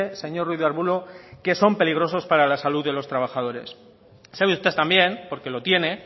señor ruiz de arbulo que son peligrosos para la salud de los trabajadores sabe usted también porque lo tiene